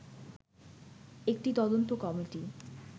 একটি তদন্ত কমিটি